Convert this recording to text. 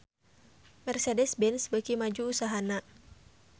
Mercedez-Benz beuki maju usahana